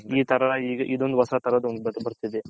ಈ ತರ ಇದೊಂದು